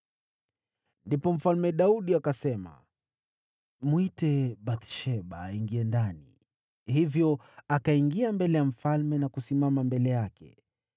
Ndipo Mfalme Daudi akasema, “Mwite Bathsheba, aingie ndani.” Hivyo akaingia mbele ya mfalme na kusimama mbele yake.